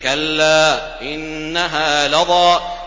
كَلَّا ۖ إِنَّهَا لَظَىٰ